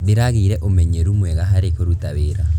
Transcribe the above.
Ndĩragĩire ũmenyeru mwega harĩ kũruta wĩra.